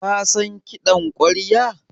Ka san kiɗan ƙwarya?